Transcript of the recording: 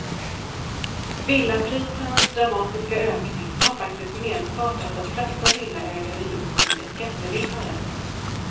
Villaprisernas dramatiska ökning har faktiskt medfört att de flesta villaägare just nu är skattevinnare.